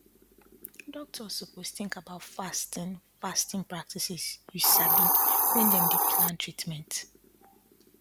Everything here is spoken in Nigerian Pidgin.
doctors suppose tink about fasting fasting practices you sabi wen dem dey plan treatment